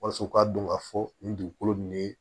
Walasa u ka dɔn ka fɔ nin dugukolo nin ye